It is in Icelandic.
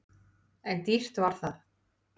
En dýrt var það!